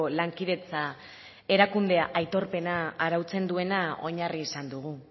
lankidetza erakundea aitorpena arautzen duena oinarri izan dugu